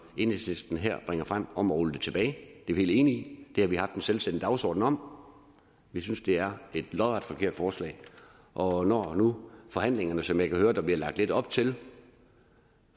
enhedslisten her bringer frem om at rulle det tilbage det er vi helt enige i det har vi haft en selvstændig dagsorden om vi synes det er et lodret forkert forslag og når nu forhandlingerne som jeg kan høre der bliver lagt lidt op til